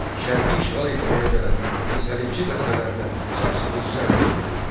Şərqi işğal etməyə gələn səlibçi dəstələrinə sarsıdıcı zərbə endirildi.